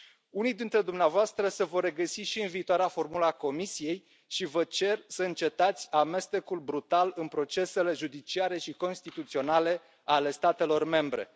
Unii dintre dumneavoastră se vor regăsi și în viitoarea formulă a Comisiei și vă cer să încetați amestecul brutal în procesele judiciare și constituționale ale statelor membre.